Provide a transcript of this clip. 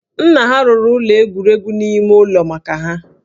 Nna ha rụrụ ụlọ egwuregwu n'ime ụlọ maka ha